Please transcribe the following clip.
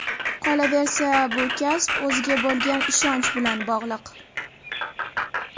Qolaversa, bu kasb o‘ziga bo‘lgan ishonch bilan bog‘liq.